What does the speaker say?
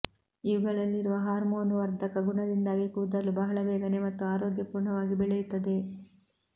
ಇವುಗಳಲ್ಲಿರುವ hormone ವರ್ಧಕ ಗುಣದಿಂದಾಗಿ ಕೂದಲು ಬಹಳ ಬೇಗನೆ ಮತ್ತು ಆರೋಗ್ಯಪೂರ್ಣವಾಗಿ ಬೆಳೆಯುತ್ತವೆ